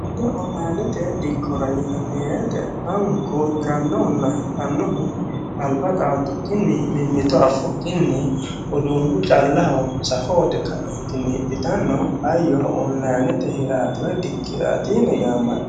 onlayiinete dikkoti yinanni woyiite lamunku hidhannohunna hirannohu dhaade alba dhaadukinni mimito affukinni udunu callaho safo uyiite ka"eentinni hidhitanno hayyo onlayiinete hirati woy dikkoti yine